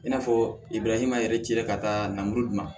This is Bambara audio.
I n'a fɔ ma yɛrɛ ci ka taa namuru dun